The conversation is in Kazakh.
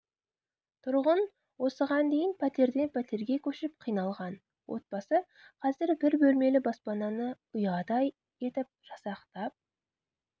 тұрғын осыған дейін пәтерден пәтерге көшіп қиналған отбасы қазір бір бөлмелі баспананы ұядай етіп жасақтап